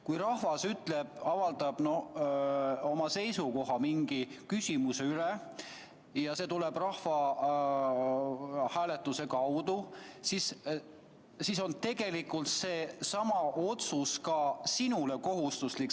Kui rahvas avaldab mingis küsimuses oma seisukoha ja see toimub rahvahääletuse kaudu, siis tegelikult on see otsus ka sinule kohustuslik.